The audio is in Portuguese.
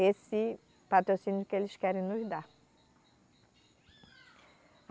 esse patrocínio que eles querem nos dar.